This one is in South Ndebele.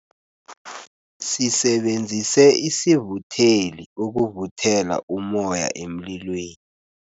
Sisebenzise isivutheli ukuvuthela ummoya emlilweni.